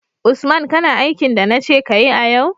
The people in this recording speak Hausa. Usman kana aikin da nace kayi a yau?